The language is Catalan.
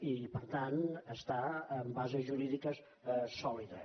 i per tant està amb bases jurídiques sòlides